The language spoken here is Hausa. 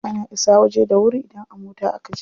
Ana isa waje da wuri idan a mota a kaje.